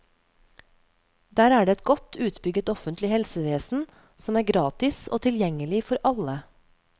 Der er det et godt utbygget offentlig helsevesen, som er gratis og tilgjengelig for alle.